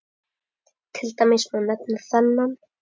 Til dæmis má nefna þennan